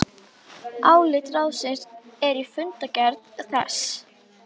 Okkar heimshluti mun vera frægur fyrir orðbragð.